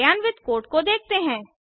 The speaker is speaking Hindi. कार्यान्वित कोड को देखते हैं